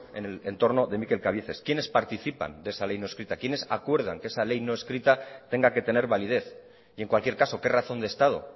en el entorno de mikel cabieces quiénes participan de esa ley no escrita quiénes acuerdan que esa ley no escrita tenga que tener validez y en cualquier caso qué razón de estado